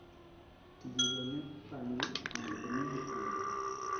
tije go ne opangi mondo omigi thuolo